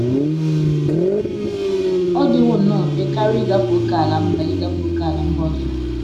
Ọ dịwo nnọọ mfe karị ịgafe ókèala mba ịgafe ókèala mba ọzọ